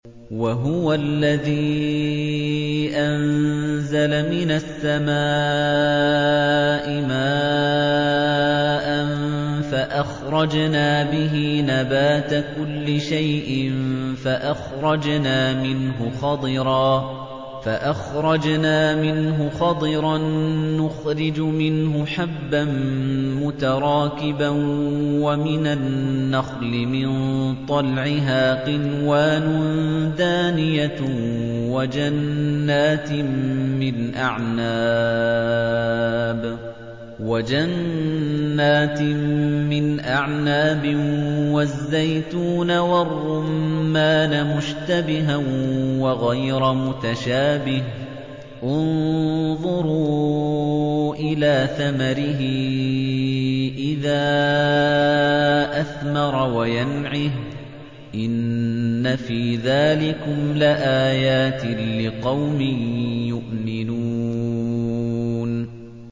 وَهُوَ الَّذِي أَنزَلَ مِنَ السَّمَاءِ مَاءً فَأَخْرَجْنَا بِهِ نَبَاتَ كُلِّ شَيْءٍ فَأَخْرَجْنَا مِنْهُ خَضِرًا نُّخْرِجُ مِنْهُ حَبًّا مُّتَرَاكِبًا وَمِنَ النَّخْلِ مِن طَلْعِهَا قِنْوَانٌ دَانِيَةٌ وَجَنَّاتٍ مِّنْ أَعْنَابٍ وَالزَّيْتُونَ وَالرُّمَّانَ مُشْتَبِهًا وَغَيْرَ مُتَشَابِهٍ ۗ انظُرُوا إِلَىٰ ثَمَرِهِ إِذَا أَثْمَرَ وَيَنْعِهِ ۚ إِنَّ فِي ذَٰلِكُمْ لَآيَاتٍ لِّقَوْمٍ يُؤْمِنُونَ